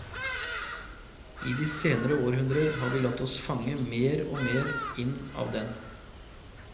I de senere århundrer har vi latt oss fange mer og mer inn av den.